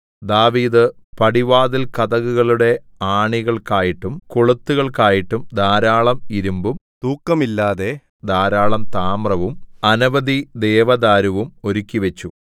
ദാവീദ് പടിവാതിൽകതകുകളുടെ ആണികൾക്കായിട്ടും കൊളുത്തുകൾക്കായിട്ടും ധാരാളം ഇരിമ്പും തൂക്കമില്ലാതെ ധാരാളം താമ്രവും അനവധി ദേവദാരുവും ഒരുക്കിവെച്ചു